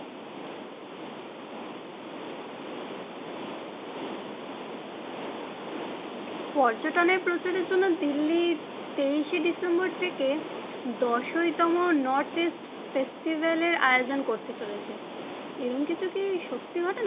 পর্যটনের প্রচারের জন্য দিল্লি তেইশে ডিসেম্বর থেকে দশইতম নর্থইস্ট ফেস্টিভ্যাল এর আয়োজন করতে চলেছে, এরম কিছু কি সত্যি ঘটনা?